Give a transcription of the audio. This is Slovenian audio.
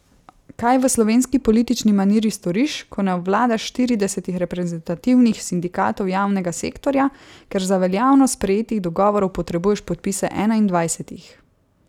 Kaj v slovenski politični maniri storiš, ko ne obvladaš štiridesetih reprezentativnih sindikatov javnega sektorja, ker za veljavnost sprejetih dogovorov potrebuješ podpise enaindvajsetih?